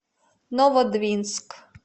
новодвинск